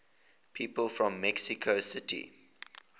people from mexico city